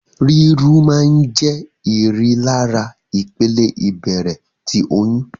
Riru maa n jẹ írilara ìpele ibẹrẹ ti oyún